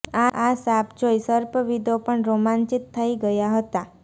આ સાપ જોઈ સર્પવિદો પણ રોમાંચિત થઈ ગયા હતા